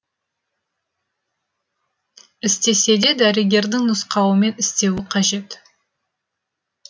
істесе де дәрігердің нұсқауымен істеуі қажет